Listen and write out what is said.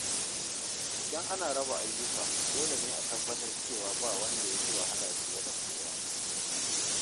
Idan ana raba ayyuka, dole ne a tabbatar cewa ba wanda ya fi wahala fiye da kowa.